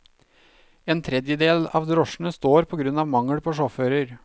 En tredjedel av drosjene står på grunn av mangel på sjåfører.